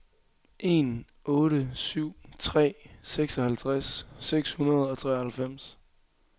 en otte syv tre seksoghalvtreds seks hundrede og treoghalvfems